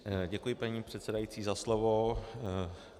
Děkuji, paní předsedající, za slovo.